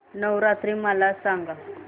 नवरात्री मला सांगा